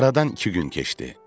Aradan iki gün keçdi.